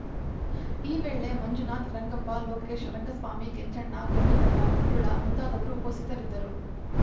ಈ ವೇಳೆ ಮಂಜುನಾತ್ ರಂಗಪ್ಪ ಲೋಕೇಶ್‌ ರಂಗಸ್ವಾಮಿ ಕೆಂಚಣ್ಣ ಗೋವಿಂದಪ್ಪ ಮಂಜುಳಾ ಮುಂತಾದವರು ಉಪಸ್ಥಿತರಿದ್ದರು